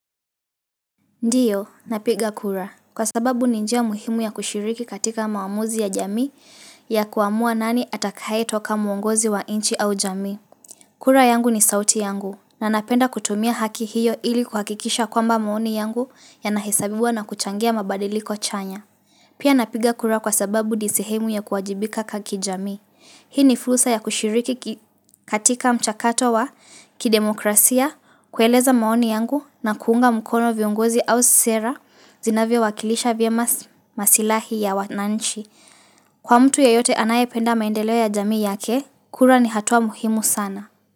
Ndiyo, napiga kura. Kwa sababu ni njia muhimu ya kushiriki katika maamuzi ya jamii ya kuamua nani atakayetoka muongozi wa inchi au jamii. Kura yangu ni sauti yangu. Na napenda kutumia haki hiyo ili kuhakikisha kwamba maoni yangu yanahisabiwa na kuchangia mabadiliko chanya. Pia napiga kura kwa sababu ni sehemu ya kuwajibika kaki jamii. Hii ni fursa ya kushiriki katika mchakato wa kidemokrasia, kueleza maoni yangu na kuunga mkono viungozi au sera zinavyowakilisha vya masilahi ya wananchi. Kwa mtu yeyote anayependa maendeleo ya jamii yake, kura ni hatua muhimu sana.